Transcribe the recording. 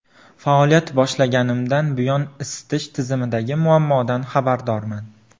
Faoliyat boshlaganimdan buyon isitish tizimidagi muammodan xabardorman.